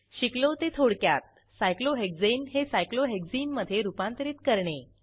शिकलो ते थोडक्यात सायक्लोहेक्साने हे सायक्लोहेक्सने मधे रूपांतरित करणे